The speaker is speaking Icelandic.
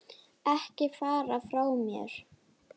Ekki fara frá mér!